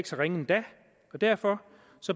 så ringe endda og derfor